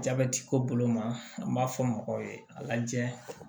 Jabɛti ko bolo ma an b'a fɔ mɔgɔw ye a lajɛ